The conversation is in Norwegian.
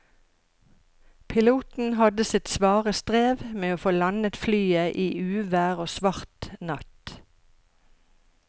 Piloten hadde sitt svare strev med å få landet flyet i uvær og svart natt.